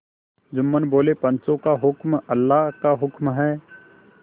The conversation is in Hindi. जुम्मन बोलेपंचों का हुक्म अल्लाह का हुक्म है